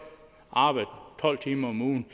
arbejde tolv timer om ugen